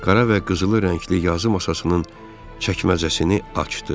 Qara və qızılı rəngli yazı masasının çəkməcəsini açdı.